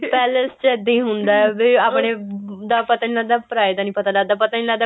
palace ਚ ਇੱਦਾਂ ਹੀ ਹੁੰਦਾ ਵੀ ਆਪਣੇ ਦਾ ਪਤਾ ਨੀ ਲੱਗਦਾ ਪਰਾਏ ਦਾ ਪਤਾ ਨੀ ਲੱਗਦਾ ਪਤਾ ਨੀ ਲੱਗਦਾ